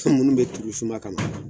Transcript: Su minnu bɛ turu suma kama